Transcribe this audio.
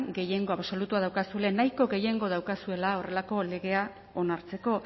gehiengo absolutua daukazuela nahiko gehiengo daukazuela horrelako legea onartzeko